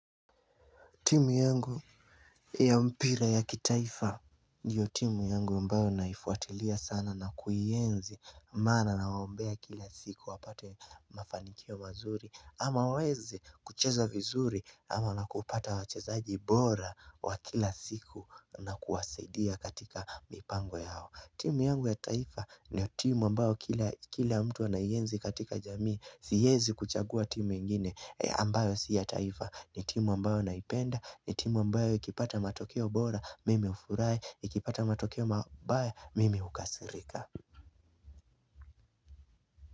Timu yangu ya mpira ya kitaifa ndiyo timu yangu ambayo naifuatilia sana na kuienzi. Maana nawaombea kila siku wapate mafanikio mazuri ama waweze kucheza vizuri ama na kupata wachezaji bora wa kila siku na kuwasaidia katika mipango yao. Timu yangu ya taifa ndiyo timu ambayo kila mtu anaienzi katika jamii. Siezi kuchagua timu ingine ambayo si ya taifa. Ni timu ambayo naipenda, ni timu ambayo ikipata matokeo bora, mimi hufurahi, ikipata matokeo mabaya, mimi hukasirika.